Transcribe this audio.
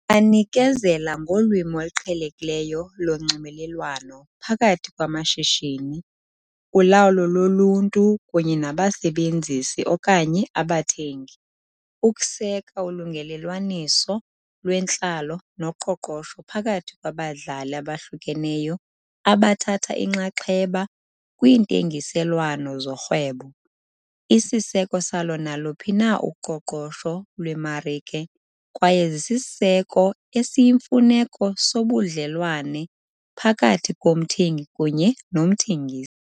Banikezela ngolwimi oluqhelekileyo lonxibelelwano phakathi kwamashishini, ulawulo loluntu kunye nabasebenzisi okanye abathengi, ukuseka ulungelelwaniso lwentlalo noqoqosho phakathi kwabadlali abahlukeneyo abathatha inxaxheba kwiintengiselwano zorhwebo, isiseko salo naluphi na uqoqosho lwemarike, kwaye zisisiseko esiyimfuneko sobudlelwane phakathi komthengi kunye nomthengisi.